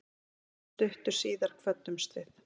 Stuttu síðar kvöddumst við.